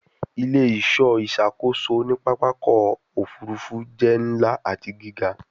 Ile-iṣọ iṣakoso ni papa ọkọ ofurufu jẹ nla ati giga